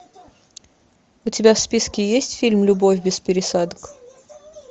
у тебя в списке есть фильм любовь без пересадок